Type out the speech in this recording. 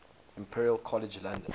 imperial college london